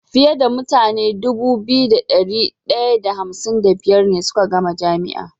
Fiye da mutane Dubu biyu da dari daya da hamsin da biyar ne suka gama jami'a